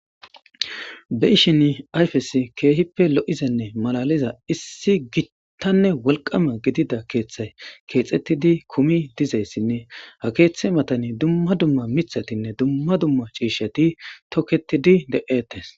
Be ishin ayfes keehippe lo'zenne malaliza issi gittanne wolqama gidida keeththay keexettidi kumi dizayssinne ha keeththa matani dumma dumma mithatinne dumma dumma ciisheti tokketidi de7ettes.